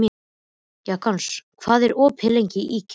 Jason, hvað er opið lengi í IKEA?